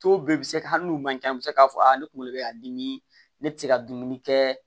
bɛɛ bɛ se ka hali n'u man ca an bɛ se k'a fɔ ne kunkolo bɛ ka dimi ne tɛ se ka dumuni kɛ